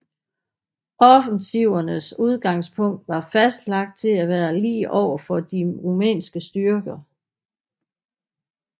Offensivernes udgangspunkt var fastlagt til at være lige over for de rumænske styrker